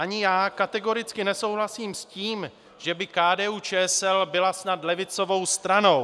Ani já kategoricky nesouhlasím s tím, že by KDU-ČSL byla snad levicovou stranou.